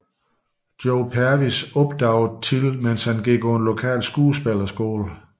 Joy Pervis opdagede Till mens han gik på en lokal skuespillerskole